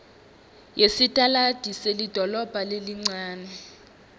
yesitaladi selidolobha lelincane